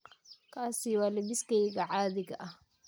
Kaasi waa lebbiskayga caadiga ah.